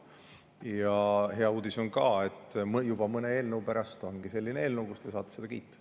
Ja hea uudis on ka: juba mõne eelnõu pärast tulebki selline eelnõu, mida te saate kiita.